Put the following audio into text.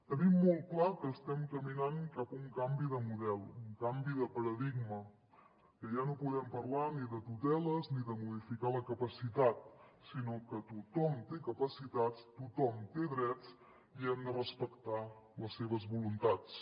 tenim molt clar que estem caminant cap a un canvi de model un canvi de paradigma que ja no podem parlar ni de tuteles ni de modificar la capacitat sinó que tothom té capacitats tothom té drets i hem de respectar les seves voluntats